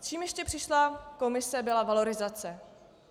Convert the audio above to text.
S čím ještě přišla komise, byla valorizace.